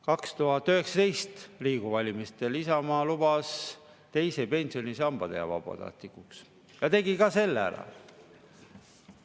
2019 lubas Isamaa Riigikogu valimistel teise pensionisamba teha vabatahtlikuks ja tegi ka selle ära.